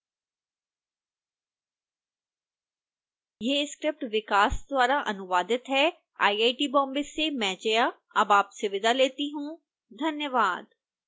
यह स्क्रिप्ट विकास द्वारा अनुवादित है आईआईटी बॉम्बे से मैं जया अब आपसे विदा लेती हूँ धन्यवाद